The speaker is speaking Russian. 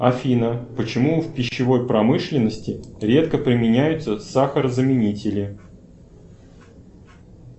афина почему в пищевой промышленности редко применяются сахарозаменители